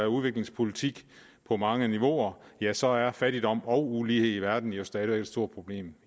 udviklingspolitik på mange niveauer ja så er fattigdom og ulighed i verden jo stadig væk et stort problem